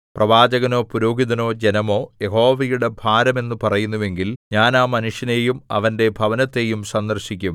പ്രവാചകനോ പുരോഹിതനോ ജനമോ യഹോവയുടെ ഭാരം എന്നു പറയുന്നുവെങ്കിൽ ഞാൻ ആ മനുഷ്യനെയും അവന്റെ ഭവനത്തെയും സന്ദർശിക്കും